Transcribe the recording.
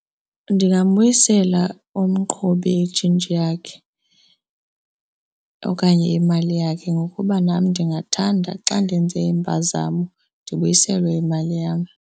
Ndingabuyisela umqhubi itshintshi yakhe okanye imali yakhe ngokuba nam ndingathanda xa ndenze impazamo, ndibuyiselwe imali yam.